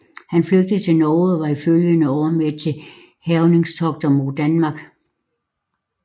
Han flygtede til Norge og var i de følgende år med til hærgningstogter mod Danmark